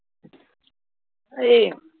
ਹਾਏ